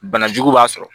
Banajugu b'a sɔrɔ